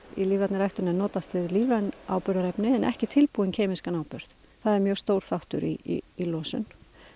í lífrænni ræktun er notast við lífræn áburðarefni en ekki tilbúinn kemískan áburð það er mjög stór þáttur í losun